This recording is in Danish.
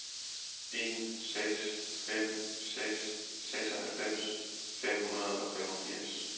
en seks fem seks seksoghalvfems fem hundrede og femogfirs